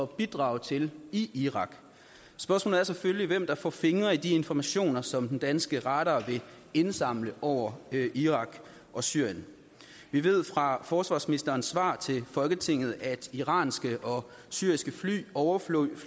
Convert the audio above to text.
bidrage til i irak spørgsmålet er selvfølgelig hvem der får fingre i de informationer som den danske radar vil indsamle over irak og syrien vi ved fra forsvarsministerens svar til folketinget at iranske og syriske fly overflyver